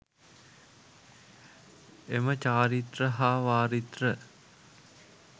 එම චාරිත්‍ර හා වාරිත්‍ර